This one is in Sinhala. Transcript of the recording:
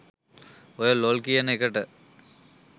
ඔය ලොල් කියන එකට